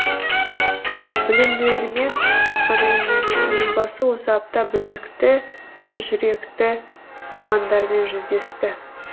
білімділермен ғана емес елбасы осы апта білекті де жүректі ұландармен жүздесті